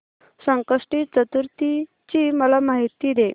संकष्टी चतुर्थी ची मला माहिती दे